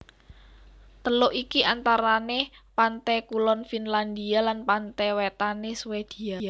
Teluk iki antarane pante kulon Finlandia lan pante wetane Swedia